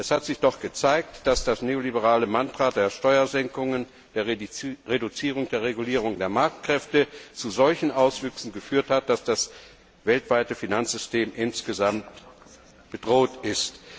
Es hat sich doch gezeigt, dass das neoliberale Mantra der Steuersenkungen und der Reduzierung der Regulierung der Marktkräfte zu solchen Auswüchsen geführt hat, dass das weltweite Finanzsystem insgesamt bedroht ist.